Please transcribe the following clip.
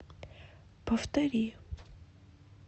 повтори